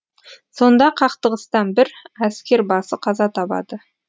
сонда қақтығыстан бір әскербасы қаза табады